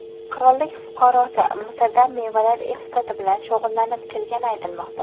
Qirollik fuqarosi Misrda mevalar eksporti bilan shug‘ullanib kelgani aytilmoqda.